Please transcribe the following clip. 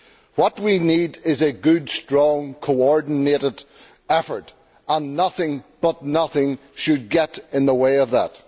What we need is a good, strong coordinated effort and nothing but nothing should get in the way of that.